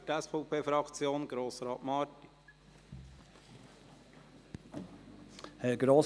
Für die SVP-Fraktion: Grossrat Marti.